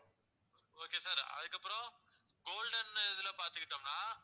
okay sir அதுக்கப்பறம் golden இதுல பாத்துக்கிட்டோம்னா